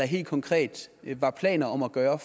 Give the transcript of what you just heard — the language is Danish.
helt konkret var planer om at gøre